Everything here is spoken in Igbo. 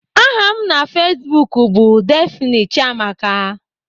Aha m na Facebook bụ Daphne Chiamaka